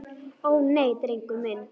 Ó, nei, drengur minn.